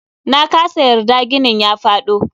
Nakasa yarda ginin ya faɗo.